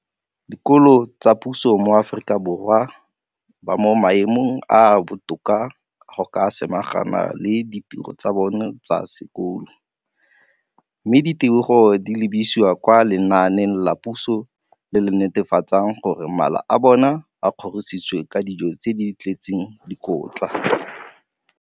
Dikolo tsa puso mo Aforika Borwa ba mo maemong a a botoka a go ka samagana le ditiro tsa bona tsa sekolo, mme ditebogo di lebisiwa kwa lenaaneng la puso le le netefatsang gore mala a bona a kgorisitswe ka dijo tse di tletseng dikotla.